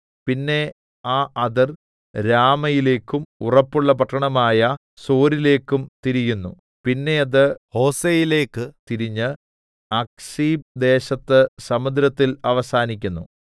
പിന്നെ ആ അതിർ രാമയിലേക്കും ഉറപ്പുള്ള പട്ടണമായ സോരിലേക്കും തിരിയുന്നു പിന്നെ അത് ഹോസയിലേക്ക് തിരിഞ്ഞ് അക്സീബ് ദേശത്ത് സമുദ്രത്തിൽ അവസാനിക്കുന്നു